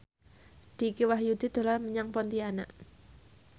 Dicky Wahyudi dolan menyang Pontianak